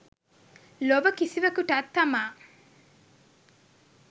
ලොව කිසිවකුටත් තමා